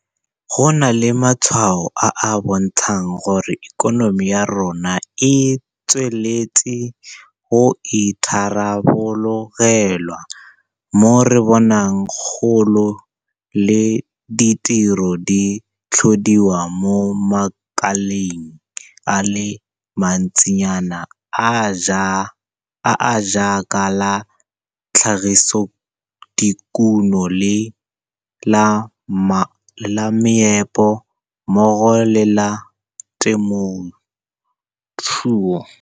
Go na le matshwao a a bontshang gore ikonomi ya rona e tsweletse go itharabologelwa, mo re bonang kgolo le ditiro di tlhodiwa mo makaleng a le mantsinyana a a jaaka la tlhagisodikuno le la meepo mmogo le la temothuo.